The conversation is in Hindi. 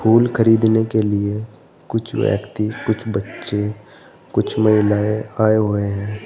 फूल खरीदने के लिए कुछ व्यक्ति कुछ बच्चे कुछ महिलाएं आए हुए हैं।